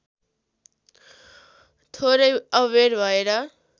थोरै अबेर भएर